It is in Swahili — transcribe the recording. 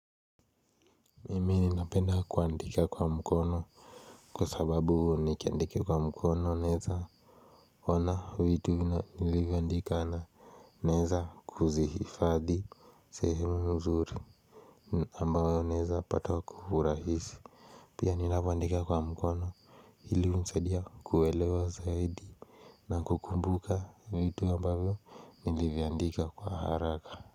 Mimi napenda kuandika kwa mkono Kwa sababu nikiandike kwa mkono naeza ona vitu nilivyandika na Narza kuzifadhi sehemu nzuri ambayo naeza pata kwa urahisi Pia ninapoandika kwa mkono Hili unisadia kuelewa zaidi na kukumbuka vitu ambayo nilivyandika kwa haraka.